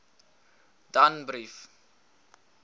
danbrief